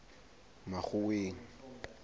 makgoweng